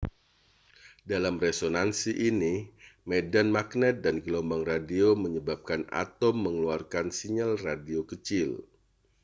dalam resonansi ini medan magnet dan gelombang radio menyebabkan atom mengeluarkan sinyal radio kecil